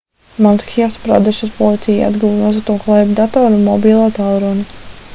madhjas pradešas policija atguva nozagto klēpjdatoru un mobilo tālruni